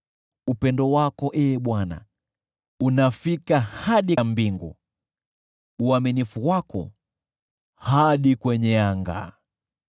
Upendo wako, Ee Bwana , unafika hadi mbinguni, uaminifu wako hadi kwenye anga.